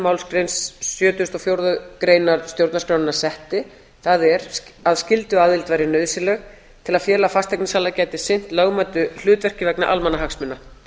málsgrein sjötugustu og fjórðu greinar stjórnarskrárinnar setti það er að skylduaðild væri nauðsynleg til að félag fasteignasala gæti sinnt lögmætu hlutverki vegna almannahagsmuna